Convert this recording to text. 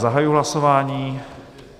Zahajuji hlasování.